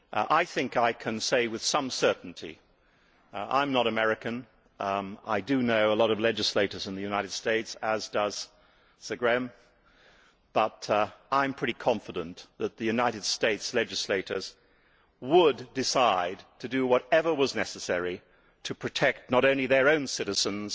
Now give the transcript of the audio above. I can say with some certainty that, although I am not American, I do know a lot of legislators in the United States as does Sir Graham and I am pretty confident that the United States legislators would decide to do whatever was necessary to protect not only their own citizens